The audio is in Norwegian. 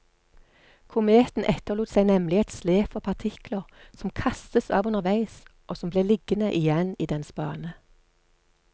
Kometen etterlot seg nemlig et slep av partikler, som kastes av underveis, og som ble liggende igjen i dens bane.